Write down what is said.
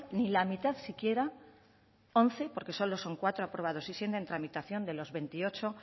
ni la mitad siquiera once porque son solo cuatro aprobados y siete en tramitación de los veintiocho